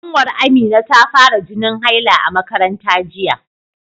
Ƙanwar Amina ta fara jinin haila a makaranta jiya.